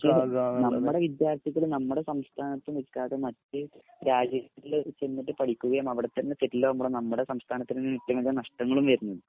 പക്ഷേല് നമ്മടെ വിദ്യാർത്ഥികള് നമ്മടെ സംസ്ഥാനത്ത് നിക്കാതെ മറ്റൊരു രാജ്യത്ത് ചെന്നിട്ട് പഠിക്കുകയും അവിടത്തന്നെ സെറ്റിലാവുമ്പോ നമ്മുടെ സംസ്ഥാനത്തിന് നഷ്ടങ്ങളും വരുന്നു.